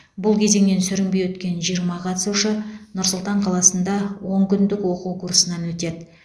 бұл кезеңінен сүрінбей өткен жиырма қатысушы нұр сұлтан қаласында он күндік оқу курсынан өтеді